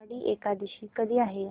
आषाढी एकादशी कधी आहे